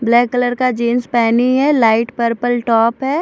Black colour का jeans पेहनी है लाइट पर्पल टॉप है।